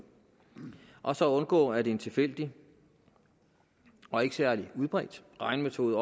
og så at undgå at en tilfældig og ikke særlig udbredt regnemetode